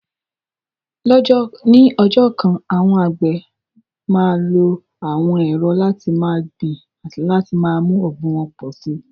Ní ọjọ́ kan, àwọn àgbẹ̀ máa lo àwọn ẹ̀rọ láti máa gbin àti láti mú ọ̀gbìn wọn pọ̀ sí i.